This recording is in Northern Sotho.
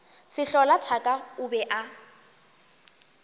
sehlola thaka o be o